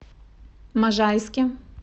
можайске